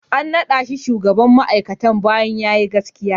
An naɗa shi shugaban ma'aikatar bayan ya yi gaskiya.